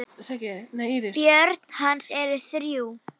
Börn hans eru þrjú.